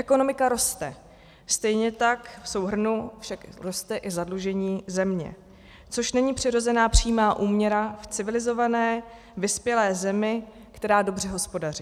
Ekonomika roste, stejně tak v souhrnu však roste i zadlužení země, což není přirozená přímá úměra v civilizované vyspělé zemi, která dobře hospodaří.